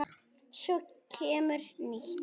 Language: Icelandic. Svo kemur nýtt.